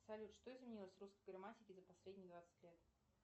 салют что изменилось в русской грамматике за последние двадцать лет